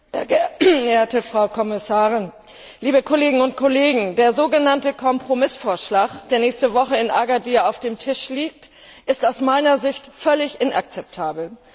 Frau Präsidentin, Frau Kommissarin, liebe Kolleginnen und Kollegen! Der so genannte Kompromissvorschlag, der nächste Woche in Agadir auf dem Tisch liegen wird, ist aus meiner Sicht völlig inakzeptabel.